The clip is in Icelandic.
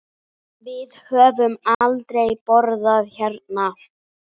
Við höfum aldrei borðað hérna.